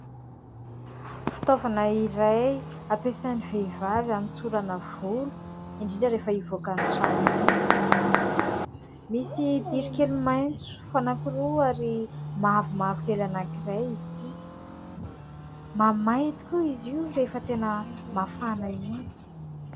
Fitaovana iray ampiasain'ny vehivavy anotsorana volo, indrindra rehefa hivoaka ny trano iny. Misy jiro kely maitso anankiroa ary mavomavo kely anankiray izy ity. Mamay tokoa izy io rehefa tena mafana iny.